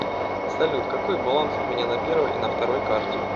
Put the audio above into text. салют какой баланс у меня на первой и на второй карте